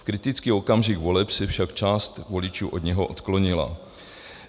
V kritický okamžik voleb se však část voličů od něho odklonila.